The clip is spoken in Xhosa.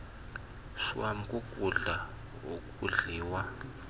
shwam kukutya okudliwa